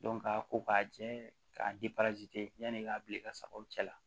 ka ko k'a jɛ k'a yanni i k'a bila i ka sagaw cɛ la